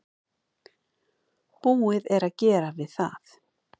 Búið er að gera við það.